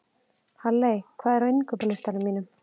Halley, hvað er á innkaupalistanum mínum?